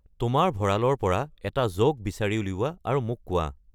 তোমাৰ ভঁৰালৰ পৰা এটা জ'ক বিচাৰি উলিওৱা আৰু মোক কোৱা